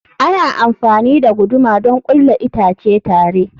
Ana amfani da guduma don ƙulla itace tare.